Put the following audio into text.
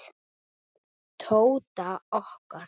Tóta okkar.